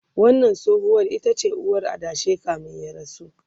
wannan tsohuwar itace uwar adashin kamin ya rasu